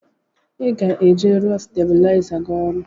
I ga-eje rụọ stabuliza gị ọrụ!!